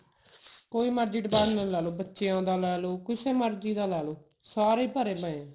ਕੋਈ ਮਰਜੀ department ਲਾਲੋ ਬੱਚਿਆ ਦਾ ਲਾਲੋ ਕਿਸੇ ਮਰਜੀ ਦਾ ਲਾਲੋ ਸਾਰੇ ਭਰੇ ਪਏ ਨੇ